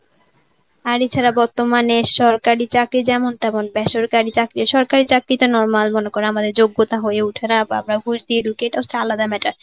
আর এছাড়া বর্তমানে সরকারি চাকরি যেমন তেমন বেসরকারি চাকরি~ সরকারি চাকরিতে normal মনে করো আমাদের যোগ্যতা হয়ে ওঠে না আমরা ঘুষ দিয়ে ঢুকি সেটা হচ্ছে আলাদা matter.